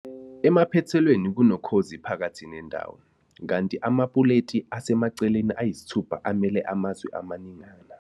emaphethelweni kunokhozi phakathi nendawo, kanti amapuleti asemaceleni ayisithupha amele amazwe amaningana.